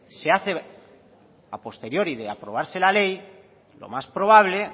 se hace a posteriori de aprobarse la ley lo más probable